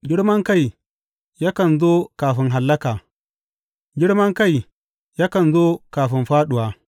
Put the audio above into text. Girmankai yakan zo kafin hallaka, girman kai yakan zo kafin fāɗuwa.